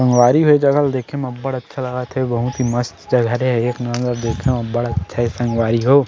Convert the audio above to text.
संगवारी हो ए जगह ल देखे म बर अच्छा लगत हे बहुत ही मस्त जगह हे एक नंबर देखे म बर अच्छा हे संगवारी हो --